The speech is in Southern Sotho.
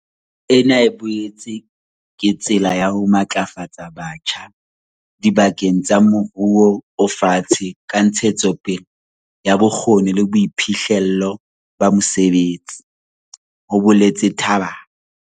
"Ena e boetse ke tsela ya ho matlafatsa batjha diba keng tsa moruo o fatshe ka ntshetsopele ya bokgoni le boiphihlello ba mosebetsi," ho boletse Tlhabane.